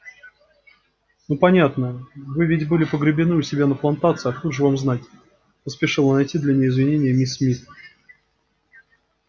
ну понятно вы ведь были погребены у себя на плантации откуда же вам знать поспешила найти для нее извинение миссис мид